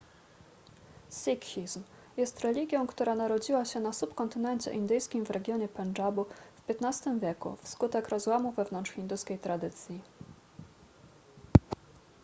sikhizm jest religią która narodziła się na subkontynencie indyjskim w regionie pendżabu w xv wieku wskutek rozłamu wewnątrz hinduskiej tradycji